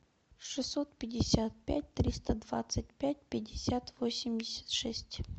шестьсот пятьдесят пять триста двадцать пять пятьдесят восемьдесят шесть